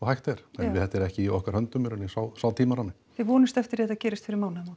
hægt er en þetta er ekki í okkar höndum í rauninni sá sá tímarammi þið vonist eftir því að þetta gerist fyrir mánaðamót